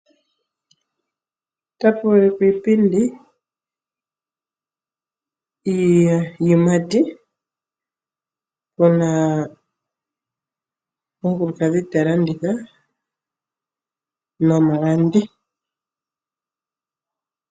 Otapu ulikwa iipindi, iiyimati puna omukulukadhi talanditha nomulandi.